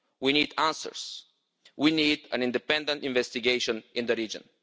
We need answers. We need an independent investigation in the region.